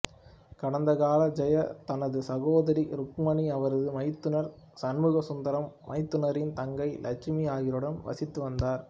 கடந்த காலத்தில் ஜெயா தனது சகோதரி ருக்மணி அவரது மைத்துனர் சண்முகசுந்தரம் மைத்துனரின் தங்கை லட்சுமி ஆகியோருடன் வசித்து வந்தார்